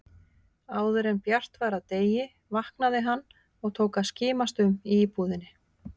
Áðuren bjart var af degi vaknaði hann og tók að skimast um í íbúðinni.